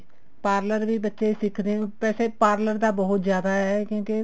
parlor ਵੀ ਬੱਚੇ ਸਿੱਖਦੇ ਵੈਸੇ parlor ਤਾਂ ਬਹੁਤ ਜ਼ਿਆਦਾ ਕਿਉਂਕਿ